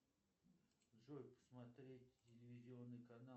джой добрый вечер скажите как сменить